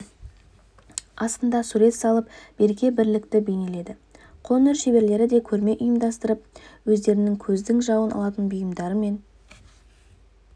астында сурет салып береке-бірлікті бейнеледі қолөнер шеберлері де көрме ұйымдастырып өздерінің көздің жауын алатын бұйымдарымен